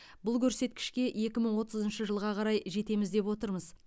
бұл көрсеткішке екі мың отызыншы жылға қарай жетеміз деп отырмыз